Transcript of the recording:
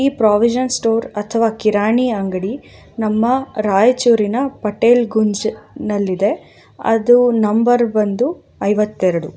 ಈ ಪ್ರಾವಿಷನ್ ಅಥವಾ ಕಿರಾಣಿ ಅಂಗಡಿ ನಮ್ಮ ರಾಯಚೂರಿನ ಪಟೇಲ್ ಗುಂಜನಲ್ಲಿದೆ ಅದು ನಂಬರ್ ಬಂದು ಐವತ್ ಎರಡು.